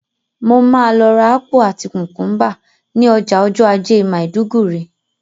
Mo ma lọ rà ápù àti kùkúmbà ni ọjà ọjọ́ ajé Maiduguri